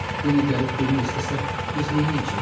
Yenə gəlib birini istəsə, biz neyniyəcəyik?